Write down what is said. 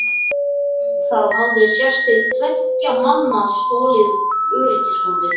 Það hafði sést til tveggja manna með stolna öryggishólfið!